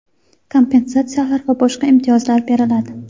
kompensatsiyalar va boshqa imtiyozlar beriladi.